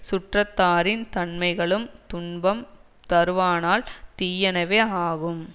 சுற்றத்தாறின் தன்மைகளும் துன்பம் தருவானால் தீயனவே ஆகும்